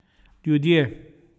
Ljudje.